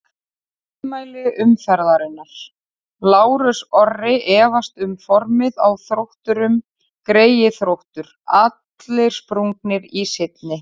Ummæli umferðarinnar: Lárus Orri efast um formið á Þrótturum Greyið Þróttur, allir sprungnir í seinni.